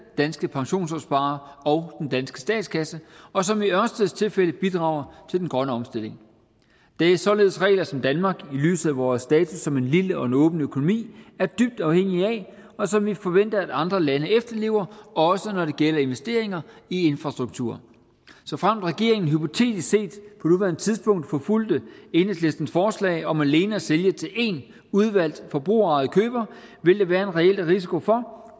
danske pensionsopsparere og danske statskasse og som i ørsteds tilfælde bidrager til den grønne omstilling det er således regler som danmark i lyset af vores status som en lille og åben økonomi er dybt afhængig af og som vi forventer at andre lande efterlever også når det gælder investeringer i infrastruktur såfremt regeringen hypotetisk set på nuværende tidspunkt forfulgte enhedslistens forslag om alene at sælge til én udvalgt forbrugerejet køber vil der være en reel risiko for